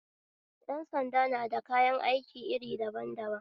Yan sanda na da kayan aiki iri daban daban